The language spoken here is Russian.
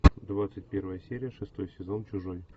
двадцать первая серия шестой сезон чужой